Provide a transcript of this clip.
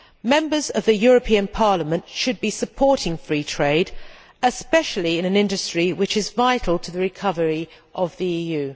Members of the European Parliament should be supporting free trade, especially in an industry which is vital to the recovery of the EU.